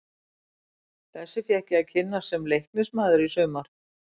Þessu fékk ég að kynnast sem Leiknismaður í sumar.